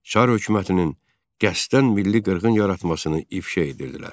Çar hökumətinin qəsdən milli qırğın yaratmasını ifşa edirdilər.